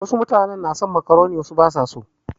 Wasu mutanen na son makaroni wasu ba su so.